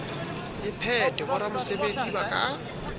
e phethwe boramesebetsi ba ka